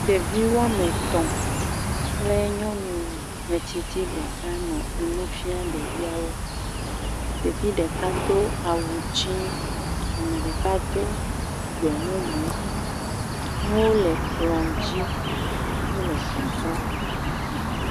Ɖevi woame etɔ̃ kple nyɔnu metsitsi ɖeka nɔ nu fia ɖeviawo, ɖevi ɖeka do awu dzi, ame ɖeka do gbe mumu, nuwo le kplɔ dzi wole sɔsrɔ̃.